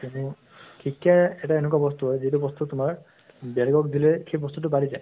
শিক্ষা এটা এনেকুৱা হয় যিটো বস্তু তোমাৰ বেলেগক দিলে সেই বস্তুটো বাঢ়ি যায়।